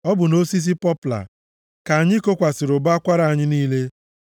Ọ bụ nʼosisi pọpla ka anyị kokwasịrị ụbọ akwara anyị niile.